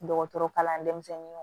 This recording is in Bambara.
Dɔgɔtɔrɔkalan denmisɛnninw